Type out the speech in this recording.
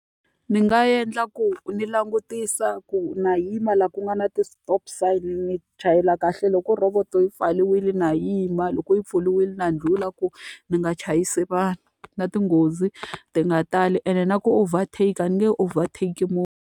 Ndzi nga endla ku ni langutisa ku na yima laha ku nga na ti-stop sign, ni chayela kahle. Loko roboto yi pfariwile na yima, loko yi pfuriwile na ndlhula ku ni nga chayisi vanhu. Na tinghozi ti nga tali ene na ku overtake-a, a ni nge overtake-i .